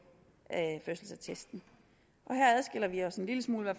fødselsattesten her adskiller vi os en lille smule